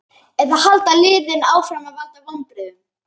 Eða halda liðin áfram að valda vonbrigðum?